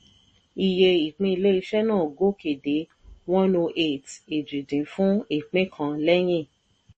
iye ìpín ilé-iṣẹ́ náà gòkè dé cs] one oh eight èjì dín fún ìpín kan lẹ́yìn.